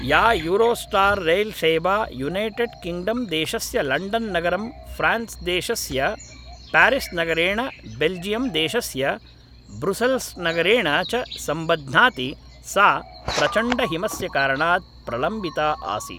या Eurostar रैल्सेवा United किङ्ग्डम्देशस्य लण्डन्नगरं फ्रान्स्देशस्य पारिस्नगरेण बेल्जियम्देशस्य ब्रुसेल्स्नगरेण च सम्बध्नाति सा प्रचण्डहिमस्य कारणात् प्रलम्बिता आसीत्